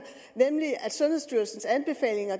nemlig at sundhedsstyrelsens anbefalinger